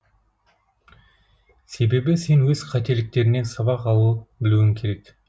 себебі сен өз қателіктеріңнен сабақ ала білуің керек